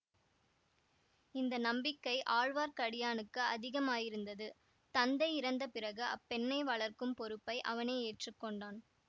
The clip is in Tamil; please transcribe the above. இந்த நம்பிக்கை ஆழ்வார்க்கடியானுக்கு அதிகமாயிருந்தது தந்தை இறந்த பிறகு அப்பெண்ணை வளர்க்கும் பொறுப்பை அவனே ஏற்று கொண்டான்